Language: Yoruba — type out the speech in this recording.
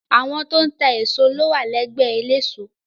Àwọn tó ń ta èso ló wà lẹ́gbẹ́ eléso.